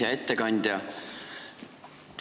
Hea ettekandja!